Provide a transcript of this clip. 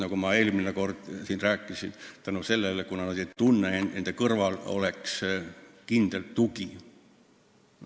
Nagu ma eelmine kord siin rääkisin, nad ei ole nõus, kuna nad ei tunne, et nende kõrval oleks kindel tugi.